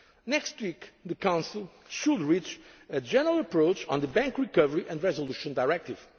be relaxed. Next week the Council should reach a general approach on the Bank Recovery and Resolution